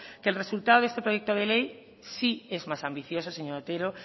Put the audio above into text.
que el resultado de este proyecto de ley sí es más ambicioso señor otero